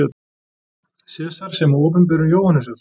Sesars sem og Opinberun Jóhannesar.